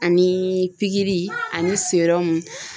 Ani pikiri ani serɔmu.